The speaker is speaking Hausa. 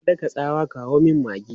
Ta daka tsawa, 'kawo min maggi!'